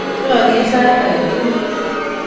Rorye sait agetukul.